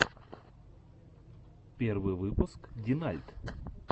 первый выпуск динальт